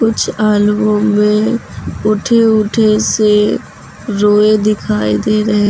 कुछ आलुओं में उठे उठे से रोएं दिखाई दे रहे --